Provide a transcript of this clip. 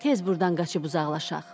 Tez burdan qaçıb uzaqlaşaq.